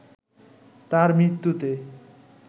তাঁর মৃত্যুতে